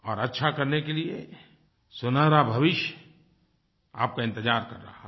और अच्छा करने के लिए सुनहरा भविष्य आपका इन्तजार कर रहा है